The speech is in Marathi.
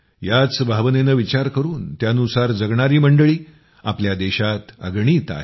याच भावनेनं विचार करून त्यानुसार जगणारी मंडळी आपल्या देशात अगणित आहेत